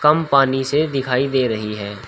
पानी से दिखाई दे रही है।